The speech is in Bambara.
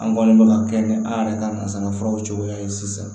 An kɔni bɛ ka kɛ ni an yɛrɛ ka nanzara furaw cogoya ye sisan